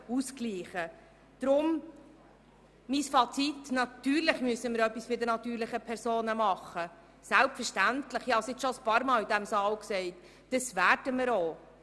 Deshalb mein Fazit: Selbstverständlich müssen wir etwas bei den natürlichen Personen tun, und das werden wir auch.